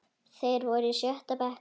Þeir voru í sjötta bekk.